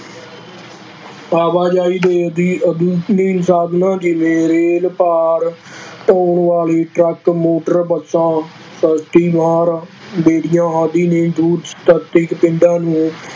ਆਵਾਜ਼ਾਈ ਦੇ ਸਾਧਨਾਂ ਜਿਵੇਂ ਰੇਲ ਭਾਰ ਢੌਣ ਵਾਲੇ ਟਰੱਕ ਮੋਟਰ ਬੱਸਾਂ ਰੇਹੜੀਆਂ ਆਦਿ ਨੇ ਪਿੰਡਾਂ ਨੂੰ